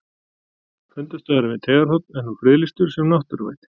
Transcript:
Fundarstaðurinn við Teigarhorn er nú friðlýstur sem náttúruvætti.